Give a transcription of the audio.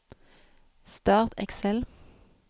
Start Excel